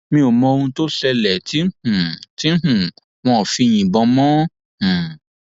mi ò mọ ohun tó ṣẹlẹ tí um tí um wọn fi yìnbọn mọ ọn um